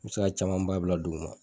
I bi se ka caman ba bila duguma.